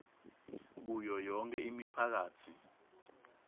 kuyo yonkhe imiphakatsi